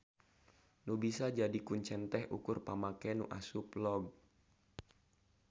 Nu bisa jadi kuncen teh ukur pamake nu asup log.